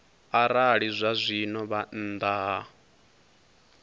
arali zwazwino vha nnḓa ha